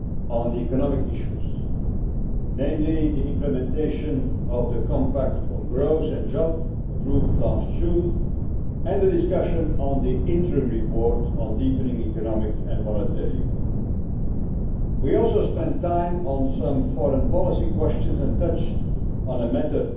on the economic issues, namely the implementation of the Compact on Growth and Jobs approved last June and the discussion on the interim report on deepening economic and monetary union We also spent time on some foreign policy questions and touched on a matter